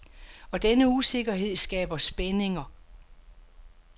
Og denne usikkerhed skaber spændinger.